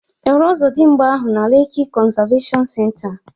Ị hụrụ Ọzọdimgba ahụ na Leki konzaveshon senta?